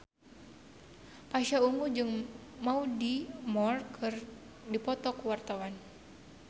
Pasha Ungu jeung Mandy Moore keur dipoto ku wartawan